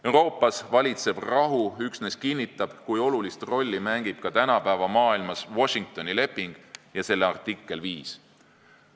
Euroopas valitsev rahu üksnes kinnitab, kui olulist rolli mängib ka tänapäeva maailmas Washingtoni leping ja selle artikkel 5.